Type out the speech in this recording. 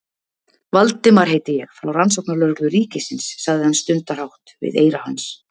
Valdimar heiti ég, frá Rannsóknarlögreglu ríkisins- sagði hann stundarhátt við eyra hans.